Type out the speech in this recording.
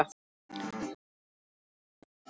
Ætla að bíða betri tíma.